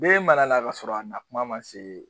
Be mara la ka sɔrɔ a na kuma ma se